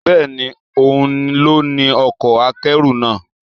Bẹ́ẹ̀ni, òun ló ní ọkọ̀ akẹ́rù náà.